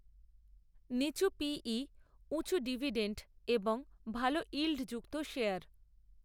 নিচু পি ইউঁচু ডিভিডেণ্ডএবং ভালইল্ডযুক্ত শেয়ার